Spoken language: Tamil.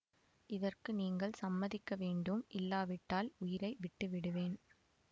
இதற்கு நீங்கள் சம்மதிக்க வேண்டும் இல்லாவிட்டால் உயிரை விட்டு விடுவேன்